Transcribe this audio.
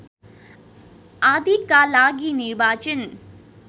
आदिका लागि निर्वाचन